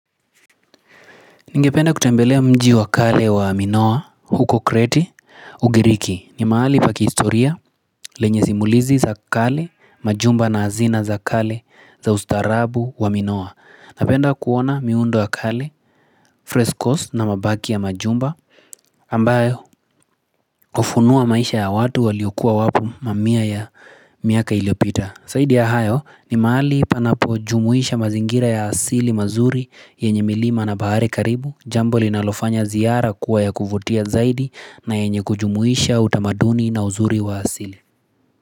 Ningependa kutembelea mji wakale wa minoa huko kreti ugiriki ni mahali pa kihistoria lenye simulizi za kale majumba na hazina za kale za ustaharabu wa minoa Napenda kuona miundo ya kale, frescos na mabaki ya majumba ambayo hufunuwa maisha ya watu waliukua wapo mamia ya miaka iliyopita zaidi ya hayo ni mahali panapo jumuisha mazingira ya asili mazuri yenye milima na bahari karibu, jambo linalofanya ziara kuwa ya kuvutia zaidi na yenye kujumuisha utamaduni na uzuri wa asili.